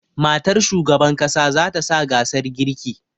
Matar shugaban ƙasa zata sa gasar girki